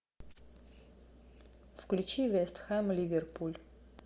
включи вест хэм ливерпуль